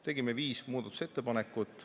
Tegime viis muudatusettepanekut.